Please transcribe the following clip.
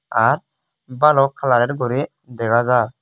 r bolok kalarar guri dega ja.